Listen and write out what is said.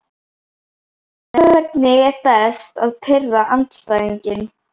nei Hvernig er best að pirra andstæðinginn?